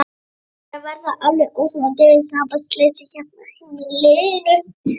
Það er að verða alveg óþolandi sambandsleysi hérna á heimilinu!